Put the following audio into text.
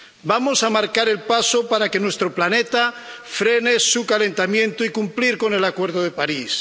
Vamos a marcar el paso para que nuestro planeta frene su calentamiento y cumplir con el Acuerdo de París.